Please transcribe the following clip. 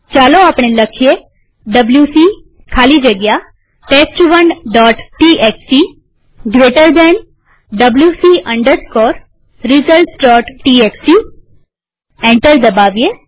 ચાલો આપણે લખીએ ડબ્લ્યુસી ખાલી જગ્યા test1ટીએક્સટી જમણા ખૂણાવાળા કૌંસ wc resultstxt એન્ટર દબાવીએ